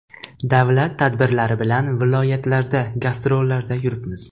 Davlat tadbirlari bilan viloyatlarda gastrollarda yuribmiz.